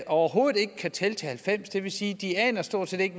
overhovedet ikke kan tælle til halvfems og det vil sige at de stort set